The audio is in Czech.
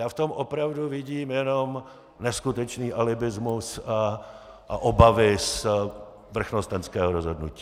Já v tom opravdu vidím jenom neskutečný alibismus a obavy z vrchnostenského rozhodnutí.